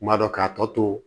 Kuma dɔ k'a tɔ to